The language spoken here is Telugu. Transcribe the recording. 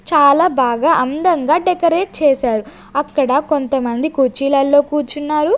చాలా బాగా అందంగా డెకరేట్ చేశారు అక్కడ కొంతమంది కుర్చీలల్లో కూర్చున్నారు.